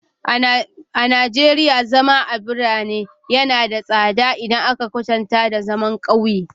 A Najeriya, zama a birane yana da tsada idan aka kwatanta da zama a ƙauye.